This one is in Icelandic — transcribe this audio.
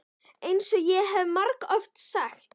EINS OG ÉG HEF MARGOFT SAGT.